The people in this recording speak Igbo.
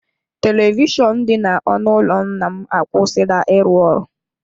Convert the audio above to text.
Televishọnụ dị n’ọnụ ụlọ nna m akwụsịla ịrụ ọrụ.